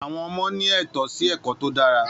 Àwọn ọmọ ní ètó sí ẹ̀kọ́ tó dára